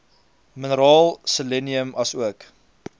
mineraal selenium asook